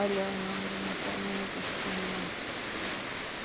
Olha, o nome do meu pai não existe no mundo.